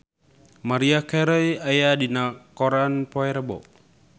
Maria Carey aya dina koran poe Rebo